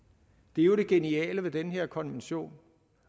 det er jo det geniale ved den her konvention